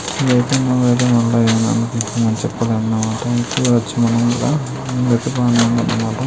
ఇది అయితే చెప్పలేను అనమాట వచ్చి అనమాట.